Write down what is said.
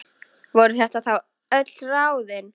Voru þetta þá öll ráðin?